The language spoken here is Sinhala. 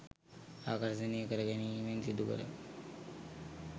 ආකර්ෂණය කරගැනීමෙන් සිදුකරයි.